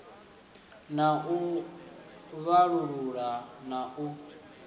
na u vhalulula na u